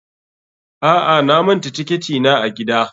A'a, na manta tiketi na a gida.